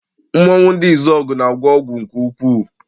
Mmọnwụ ndị Izuọgụ na-agwọ ọgwụ nke ukwuu.